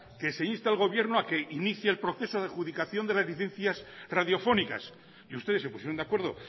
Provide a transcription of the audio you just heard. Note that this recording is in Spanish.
que se inste al gobierno a que inicie el proceso de adjudicación de las licencias radiofónicas y ustedes se pusieron de acuerdo